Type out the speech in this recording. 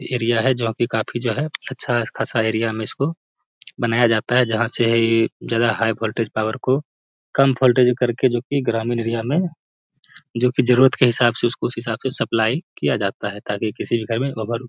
area है जोह की काफी जो है अच्छा स खासा एरिया में इसको बनाया जाता है जहा से है ज्यादा हाई भोल्टेज पावर को कम भोल्टेज में करके जो की ग्रामीण एरिया में जो की जरूरत के हिसाब से उस हिसाब से सप्लाई किया जाता है ताकि किसी के घर मे ओवर --